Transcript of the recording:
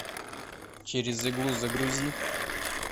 через иглу загрузи